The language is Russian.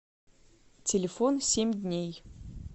телефон семь дней